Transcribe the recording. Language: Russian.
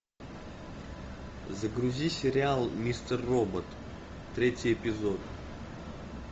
загрузи сериал мистер робот третий эпизод